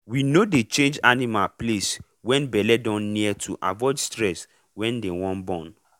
we no dey change animal place when belle don near to avoid stress when they wan born.